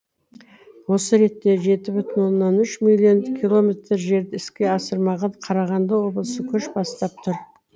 осы ретте жеті бүтін оннан үш миллион километр жерді іске асырмаған қарағанды облысы көш бастап тұр